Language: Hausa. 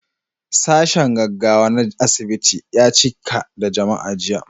Sashen gaggawa na asibiti ya cika da jama'a jiya.